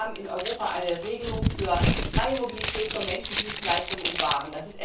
Wir haben in Europa eine Regelung für freie Mobilität von Menschen, Dienstleistungen und Waren.